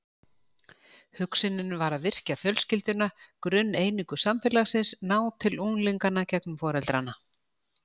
Hugsunin var að virkja fjölskylduna, grunneiningu samfélagsins, ná til unglinganna gegnum foreldrana.